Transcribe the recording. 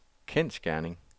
kendsgerning